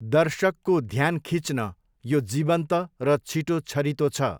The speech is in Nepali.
दर्शकको ध्यान खिच्न यो जीवन्त र छिटो छरितो छ।